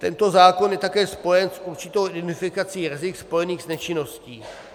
Tento zákon je také spojen s určitou identifikací rizik spojených s nečinností.